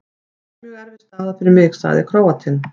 Þetta er mjög erfið staða fyrir mig, sagði Króatinn.